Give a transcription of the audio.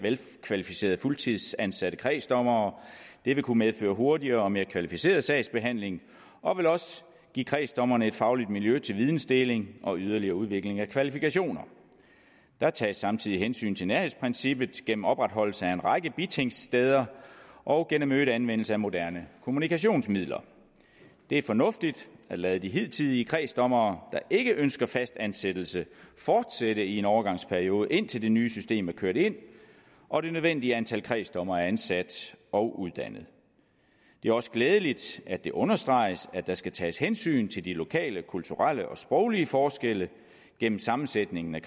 velkvalificerede fuldtidsansatte kredsdommere det vil kunne medføre hurtigere og mere kvalificeret sagsbehandling og vil også give kredsdommerne et fagligt miljø til videndeling og yderligere udvikling af kvalifikationer der tages samtidig hensyn til nærhedsprincippet gennem opretholdelse af en række bitingsteder og gennem øget anvendelse af moderne kommunikationsmidler det er fornuftigt at lade de hidtidige kredsdommere der ikke ønsker fastansættelse fortsætte i en overgangsperiode indtil det nye system er kørt ind og det nødvendige antal kredsdommere er ansat og uddannet det er også glædeligt at det understreges at der skal tages hensyn til de lokale kulturelle og sproglige forskelle gennem sammensætningen af